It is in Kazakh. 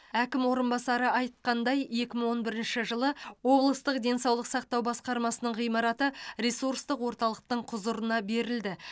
әкім орынбасары айтқандай екі мың он бірінші жылы облыстық денсаулық сақтау басқармасының ғимараты ресурстық орталықтың құзырына берілді